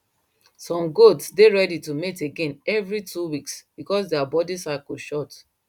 some goat dey ready to mate again every two weeks because their body cycle short